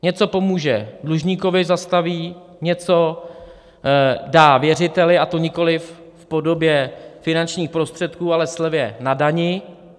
Něco pomůže dlužníkovi, zastaví, něco dá věřiteli, a to nikoli v podobě finančních prostředků, ale slevě na dani.